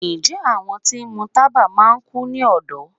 njẹ awọn ti ń mú tábá máà kú ní ọdọ?